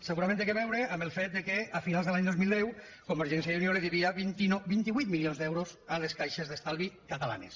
segurament té a veure amb el fet que a finals de l’any dos mil deu convergència i unió devia vint vuit milions d’euros a les caixes d’estalvi catalanes